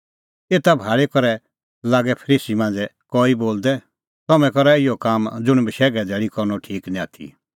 एता भाल़ी करै लागै फरीसी मांझ़ै कई बोलदै तम्हैं करा इहअ काम ज़ुंण बशैघे धैल़ी करनअ ठीक निं आथी